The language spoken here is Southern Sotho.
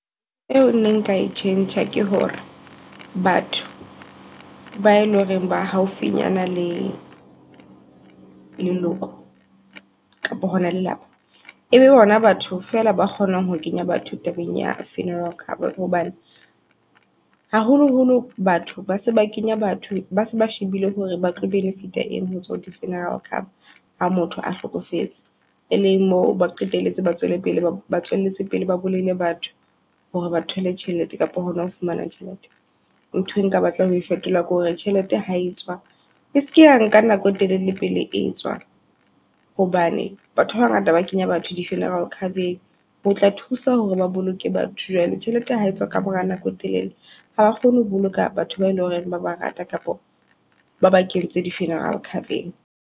Eo nna nka e tjhentjha ke hore batho bae loreng ba haufinyana le leloko kapa hona lelapa, ebe bona batho fela ba kgonang ho kenya batho tabeng ya funeral cover. Hobane haholoholo batho ba se ba kenya batho base ba shebile hore batlo benefit eng hotswa hordi funeral cover. Ha motho a hlokofetse. E leng mo ba qetelletse, ba tswele pele ba tswelletse pele ba bolaile batho hore ba thole tjhelete kapo hona ho fumana tjhelete. Ntho e nka batla ho fetola ke hore tjhelete ha etswa e seke ya nka nako e telele pele e tswa. Hobane batho ba ba ngata ba kenya batho di funeral cover-eng hotla thusa hore ba boloke batho. Jwale tjhelete ha etswa ka mora nako e telele haba kgone ho boloka batho bae loreng ba ba rata kapa ba ba kentse di funeral cover-eng.